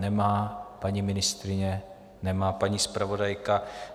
Nemá paní ministryně, nemá paní zpravodajka.